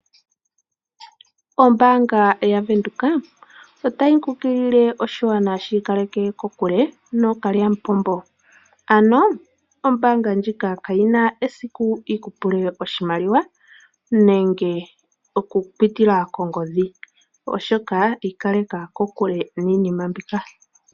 Ombaanga yaVenduka otayi kunkulile oshigwana shi ikaleke kokule nookalyamupombo. Ombaanga ndjika kayi na esiku yi ku pule oshimaliwa okupitila mongodhi, onkene ikaleka kokule niinima mbika.